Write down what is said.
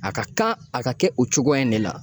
A ka kan a ka kɛ o cogoya in de la.